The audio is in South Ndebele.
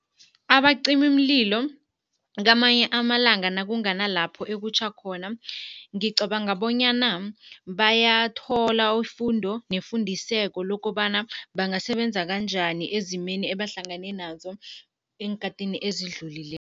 Abacimimlilo kamanye amalanga nakunganalapho Ekutjha khona, ngicabanga bonyana bayathola ifundo nefundiseko lokobana bangasebenzisa kanjani ezimeni ebahlangane nazo eenkhathini ezidlulileko.